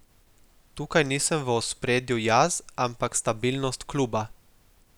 Tukaj nisem v ospredju jaz, ampak stabilnost kluba.